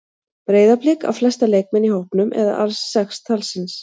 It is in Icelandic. Breiðablik á flesta leikmenn í hópnum eða alls sex talsins.